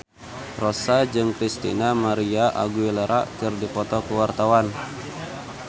Rossa jeung Christina María Aguilera keur dipoto ku wartawan